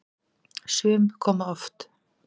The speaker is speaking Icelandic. Sum koma oft.